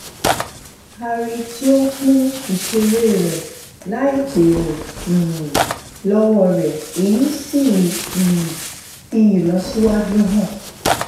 a rí tí ó ń pín ìṣeré rẹ láì béèrè um lọwọ rẹ èyí sì um fi ìlọsíwájú hàn